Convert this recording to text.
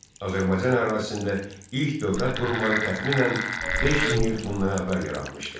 Azərbaycan ərazisində ilk dövlət qurumları təxminən 5 min il bundan əvvəl yaranmışdı.